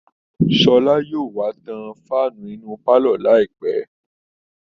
Sọ́lá yóò wá tan fáànù inú pálọ̀ láìpẹ́